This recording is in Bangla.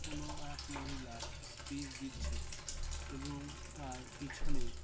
কুনো এক মহিলা স্পিচ দিচ্ছে এবং তার পিছনে--